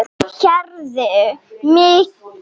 Heyrðu mig.